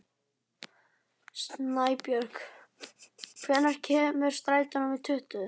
Snæbjörg, hvenær kemur strætó númer tuttugu?